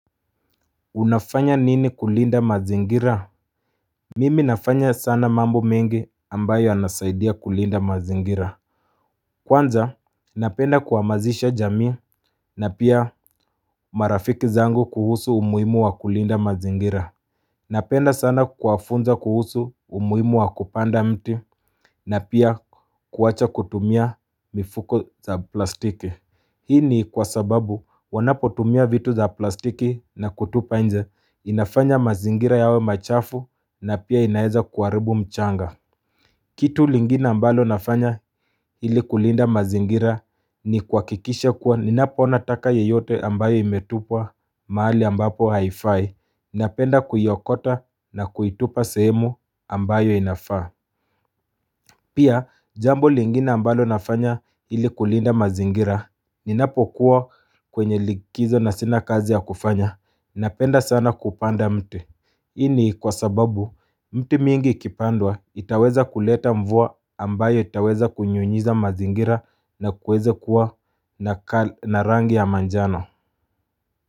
Unafanya nini kulinda mazingira? Mimi nafanya sana mambo mengi ambayo yanasaidia kulinda mazingira. Kwanza, napenda kuhamazisha jamii na pia marafiki zangu kuhusu umuhimu wa kulinda mazingira. Napenda sana kuwafunza kuhusu umuhimu wa kupanda mti na pia kuwacha kutumia mifuko za plastiki. Hii ni kwa sababu wanapo tumia vitu za plastiki na kutupa nje inafanya mazingira yawe machafu na pia inaweza kuharibu mchanga Kitu lingine ambalo nafanya ili kulinda mazingira ni kuhakikish kuwa ninapoona taka yeyote ambayo imetupwa mahali ambapo haifai Napenda kuiokota na kuitupa sehemu ambayo inafaa Pia jambo lingine ambalo nafanya ili kulinda mazingira Ninapokua kwenye likizo na sina kazi ya kufanya Napenda sana kupanda mti hii ni kwa sababu mti mingi ikipandwa itaweza kuleta mvua ambayo itaweza kunyunyiza mazingira na kuweze kuwa na rangi ya manjano.